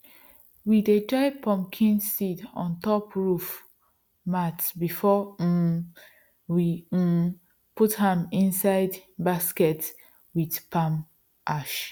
we dey dry pumpkin seeds on top roof mats before um we um put am inside baskets with palm ash